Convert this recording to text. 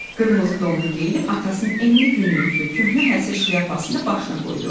Qırmızı donunu geyinib atasının enli, günlükçü köhnə həsirdən şlyapasını da başına qoydu.